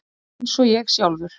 Eins og ég sjálfur.